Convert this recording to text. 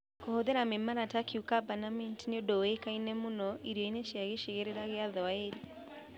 Kũhũthĩra mĩmera ta cocumber na mint nĩ ũndũ ũĩkaine mũno irio-inĩ cia gĩcigĩrĩra kĩa Swahili.